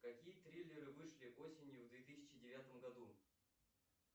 какие триллеры вышли осенью в две тысячи девятом году